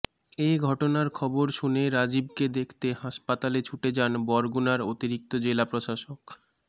এ ঘটনার খবর শুনে রাজিবকে দেখতে হাসপাতালে ছুটে যান বরগুনার অতিরিক্ত জেলা প্রশাসক মো